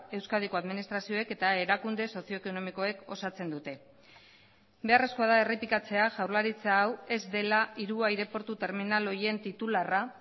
euskadiko administrazioek eta erakunde sozio ekonomikoek osatzen dute beharrezkoa da errepikatzea jaurlaritza hau ez dela hiru aireportu terminal horien titularra